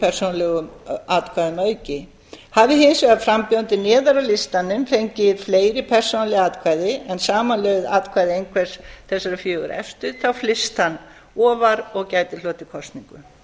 hundruð persónulegum atkvæðum að auki hafi hins vegar frambjóðandi neðar á listanum fengið fleiri persónuleg atkvæði en samanlögð atkvæði einhvers þessara fjögurra efstu þá flyst hann ofar og gæti hlotið kosningu